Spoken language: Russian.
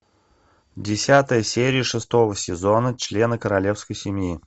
десятая серия шестого сезона члены королевской семьи